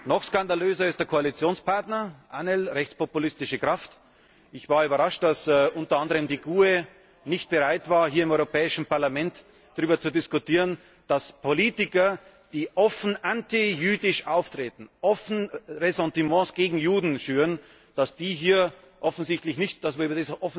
Noch skandalöser ist der Koalitionspartner ANGL, eine rechtspopulistische Kraft. Ich war überrascht, dass unter anderem die GUE nicht bereit war, hier im Europäischen Parlament darüber zu diskutieren, dass Politiker, die offen antijüdisch auftreten, offen Ressentiments gegen Juden schüren, dass wir hier offensichtlich nicht darüber